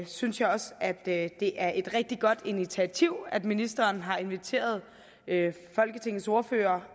synes jeg også at det det er et rigtig godt initiativ at ministeren har inviteret folketingets ordførere